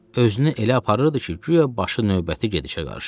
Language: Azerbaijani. Özünü elə aparırdı ki, guya başı növbəti gedişə qarışıb.